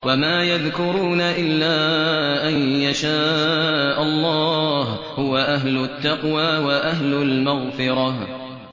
وَمَا يَذْكُرُونَ إِلَّا أَن يَشَاءَ اللَّهُ ۚ هُوَ أَهْلُ التَّقْوَىٰ وَأَهْلُ الْمَغْفِرَةِ